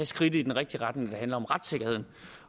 skridtet i den rigtige retning når det handler om retssikkerheden